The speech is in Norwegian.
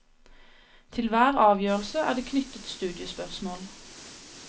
Til hver avgjørelse er det knyttet studiespørsmål.